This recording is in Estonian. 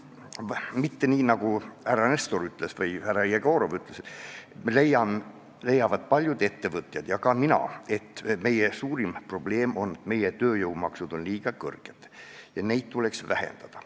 Mitte nii, nagu ütles härra Nestor või härra Jegorov, leiavad paljud ettevõtjad ja ka mina, et meie suurim probleem on see, et meie tööjõumaksud on liiga kõrged, neid tuleks vähendada.